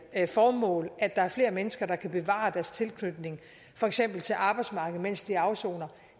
formål og at der er flere mennesker der kan bevare deres tilknytning for eksempel til arbejdsmarkedet mens de afsoner